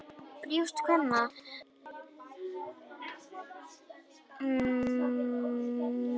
Brjóst kvenna eru þó líka eitt mest áberandi kyneinkenni þeirra.